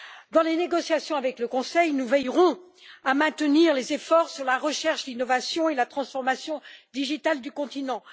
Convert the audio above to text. Dans les négociations avec le Conseil, nous veillerons à maintenir les efforts sur la recherche, l'innovation et la transformation numérique du continent.